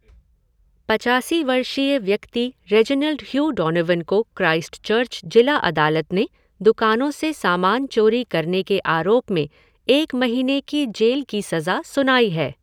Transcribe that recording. पचासी वर्षीय व्यक्ति रेजिनाल्ड ह्यू डॉनोवन को क्राइस्टचर्च जिला अदालत ने दुकानों से सामान चोरी करने के आरोप में एक महीने की जेल की सज़ा सुनाई है।